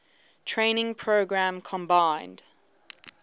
training program combined